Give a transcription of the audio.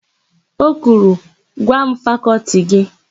O kwuru, "gwa m fakọltị gị!